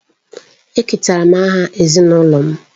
Eketara m aha ezinụlọ m.